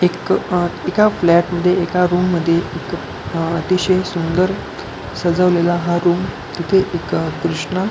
इतकं एक अ एका फ्लॅट मध्ये एका रूम मध्ये एक अतिशय सुंदर असा सजवलेला हा रूम इथे एका कृष्ण --